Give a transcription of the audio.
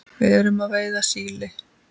Við erum að veiða síli.